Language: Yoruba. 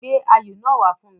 Gbé ayò náà wá fún mi.